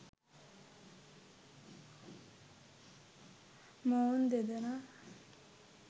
මොවුන් දෙදෙනා